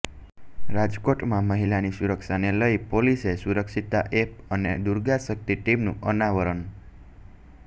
રાજકોટમાં મહિલાની સુરક્ષાને લઇ પોલીસે સુરક્ષિતા એપ અને દુર્ગા શક્તિ ટીમનું અનાવરણ